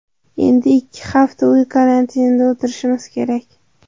Endi ikki hafta uy karantinida o‘tirishimiz kerak.